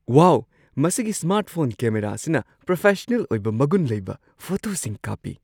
ꯋꯥꯎ! ꯃꯁꯤꯒꯤ smart phone camera ꯑꯁꯤꯅ professional ꯑꯣꯏꯕ ꯃꯒꯨꯟ ꯂꯩꯕ ꯐꯣꯇꯣꯁꯤꯡ ꯀꯥꯞꯄꯤ ꯫